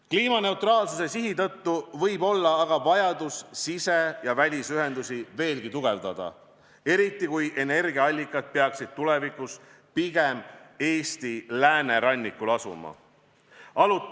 Kliimaneutraalsuse sihi tõttu võib olla aga vajadus sise- ja välisühendusi veelgi tugevdada, eriti kui energiaallikad peaksid tulevikus pigem Eesti läänerannikul asuma.